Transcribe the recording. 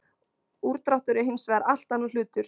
Úrdráttur er hins vegar allt annar hlutur.